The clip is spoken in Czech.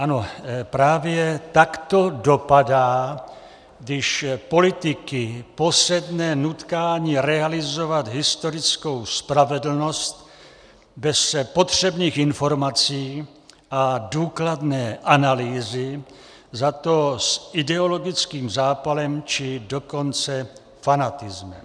Ano, právě tak to dopadá, když politiky posedne nutkání realizovat historickou spravedlnost bez potřebných informací a důkladné analýzy, zato s ideologickým zápalem, či dokonce fanatismem.